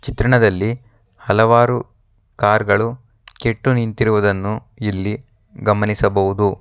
ಚಿತ್ರಣದಲ್ಲಿ ಹಲವಾರು ಕಾರ್ ಗಳು ಕೆಟ್ಟು ನಿಂತಿರುವುದನ್ನ ಇಲ್ಲಿ ಗಮನಿಸಬಹುದು.